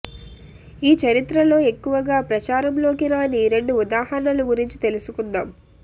ఈ చరిత్రలో ఎక్కువగా ప్రచారంలోకి రాని రెండు ఉదాహరణల గురించి తెలుసుకుందాం